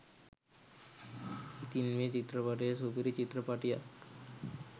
ඉතින් මේ චිත්‍රපටිය සුපිරි චිත්‍රපටියක්